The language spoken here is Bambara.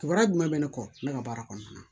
Kibaruya jumɛn bɛ ne kɔ ne ka baara kɔnɔna na